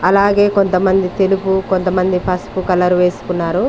అలాగే కొంతమంది తెలుగు కొంతమంది పసుపు కలర్ వేసుకున్నారు.